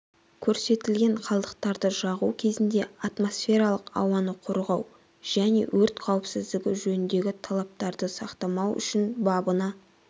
көрсетілген қалдықтарды жағу кезінде атмосфералық ауаны қорғау және өрт қауіпсіздігі жөніндегі талаптарды сақтамау үшін бабына